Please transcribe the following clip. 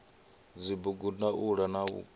dzibugu ndaula na vhukwila ha